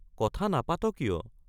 কথা নাপাত কিয়?